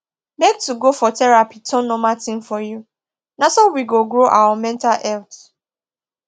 make to go for therapy turn normal thing for you na so we go grow our mental health